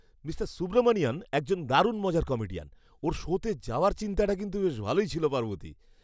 Mister Subramanian একজন দারুণ মজার কমেডিয়ান। ওঁর শোতে যাওয়ার চিন্তাটা কিন্তু বেশ ভালোই ছিল পার্বতী।